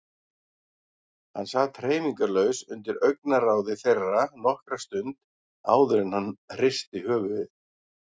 Hann sat hreyfingarlaus undir augnaráði þeirra nokkra stund áður en hann hristi höfuðið.